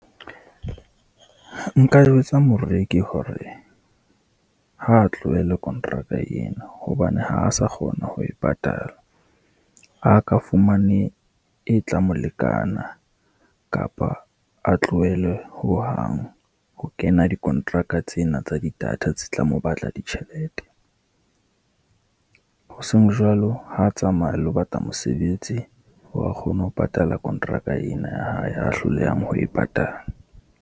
Nka jwetsa moreki hore ha a tlohele kontraka eno, hobane ha a sa kgona ho e patala. A ka fumane e tla mo lekana, kapa a tlohele hohang ho kena dikontraka tsena tsa di-data tse tla mo batla ditjhelete. Hoseng jwalo, ha a tsamaye a lo batla mosebetsi, hore a kgone ho patala kontraka ena ya hae a hlolehang ho e patala.